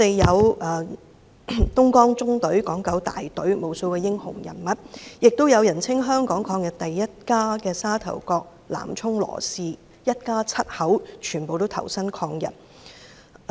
有東江縱隊、港九大隊的無數英雄人物，亦有人稱"港人抗日第一家"的沙頭角南涌羅氏家族，一家七口都投身抗日。